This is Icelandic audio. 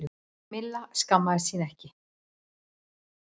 Milla skammaðist sín ekki.